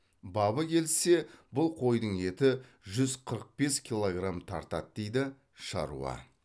бабы келіссе бұл қойдың еті жүз қырық бес килограмм тартады дейді шаруа